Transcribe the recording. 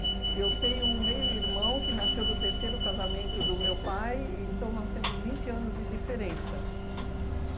Eu tenho um meio-irmão que nasceu do terceiro casamento do meu pai, então nós temos vinte anos de diferença.